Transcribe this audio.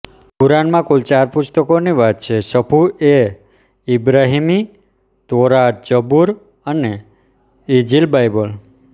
કુરાનમાં કુલ ચાર પુસ્તકોની વાત છે સફૂહ એ ઈબ્રાહિમી તૌરાત જબૂર અને ઈંજીલબાઈબલ